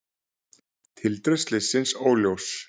Tildrög slyssins óljós